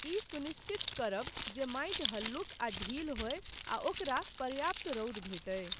ई सुनिश्चित करब जे माटि हल्लुक आ ढील होय आ ओकरा पर्याप्त रौद भेटय।